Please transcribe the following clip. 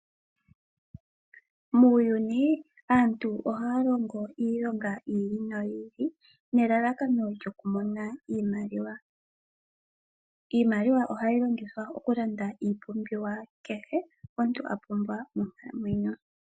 Muuyuni aantu ohaya longo iilonga yi ili noyi ili, nelalakano lyokumona iimaliwa. Iimaliwa ohayi longithwa okulanda iipumbiwa kehe omuntu a pumbwa monkalamwenyo.